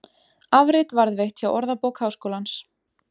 Afrit varðveitt hjá Orðabók Háskólans.